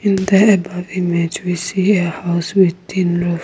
in the above image we see a house with tin roof.